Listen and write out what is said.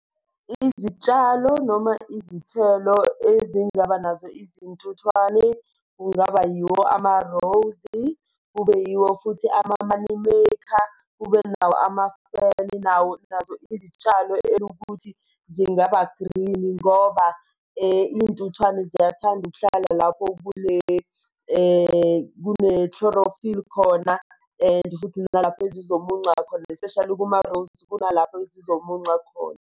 Izitshalo noma izithelo ezingaba nazo izintuthwane kungaba yiwo ama-rose, kube yiwo futhi ama-moneymaker, kube nawo nawo nazo izitshalo elukuthi zingaba green ngoba iy'ntuthwane ziyathanda ukuhlala lapho kune-chlorophyll khona, and futhi nalapho ezizomunca khona especially kuma-roses kunalapho ezizomunca khona.